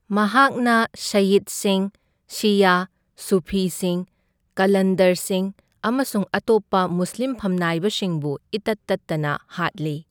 ꯃꯍꯥꯛꯅ ꯁꯩꯌꯤꯗꯁꯤꯡ ꯁꯤꯌꯥ, ꯁꯨꯐꯤꯁꯤꯡ, ꯀꯥꯂꯟꯗꯔꯁꯤꯡ ꯑꯃꯁꯨꯡ ꯑꯇꯣꯞꯄ ꯃꯨꯁꯂꯤꯝ ꯐꯝꯅꯥꯏꯕꯁꯤꯡꯕꯨ ꯏꯇꯠ ꯇꯠꯇꯅ ꯍꯥꯠꯂꯤ꯫